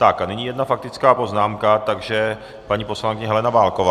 Tak a nyní jedna faktická poznámka, takže paní poslankyně Helena Válková.